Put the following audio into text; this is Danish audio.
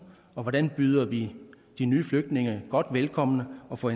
og hvordan vi byder de nye flygtninge godt velkommen og får